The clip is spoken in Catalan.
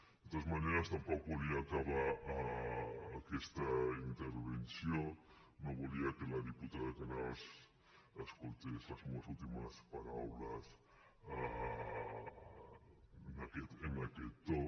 de totes maneres tampoc volia acabar aquesta intervenció no volia que la diputada canals escoltés les meues últimes paraules en aquest to